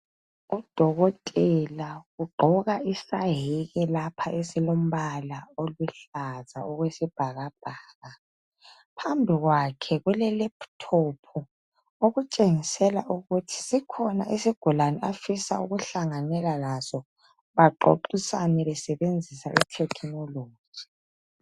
Udokotela ugqoka isayeke lapha esilombala oluhlaza okwesibhakabhaka. Phambi kwakhe kule laptop okutshengisela ukuthi sikhona isigulane afisa ukuhlanganela laso, baxoxisane besebenzisa ithekinoloji.